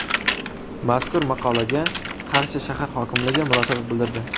Mazkur maqolaga Qarshi shahar hokimligi munosabat bildirdi.